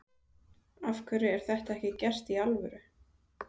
Af hverju er þetta ekki gert í alvöru?